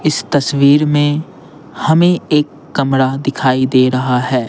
इस तस्वीर में हमें एक कमरा दिखाई दे रहा है।